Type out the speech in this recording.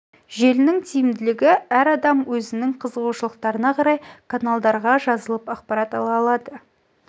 желінің тиімділігі әр адам өзінің қызығушылықтарына қарай каналдалға жазылып ақпарат ала алады